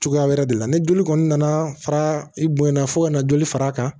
Cogoya wɛrɛ de la ni joli kɔni nana fara i boyanna fo ka na joli far'a kan